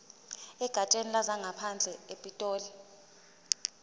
egatsheni lezangaphandle epitoli